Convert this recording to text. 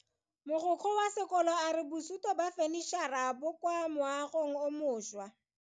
Mogokgo wa sekolo a re bosuto ba fanitšhara bo kwa moagong o mošwa.